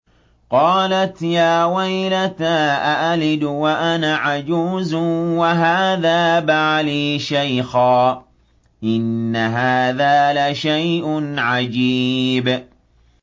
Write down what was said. قَالَتْ يَا وَيْلَتَىٰ أَأَلِدُ وَأَنَا عَجُوزٌ وَهَٰذَا بَعْلِي شَيْخًا ۖ إِنَّ هَٰذَا لَشَيْءٌ عَجِيبٌ